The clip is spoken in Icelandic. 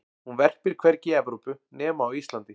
hún verpir hvergi í evrópu nema á íslandi